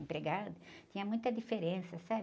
Empregado tinha muita diferença, sabe?